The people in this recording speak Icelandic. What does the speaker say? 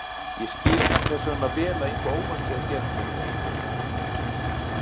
Ég skil þess vegna vel að eitthvað óvænt sé að gerast hjá þér.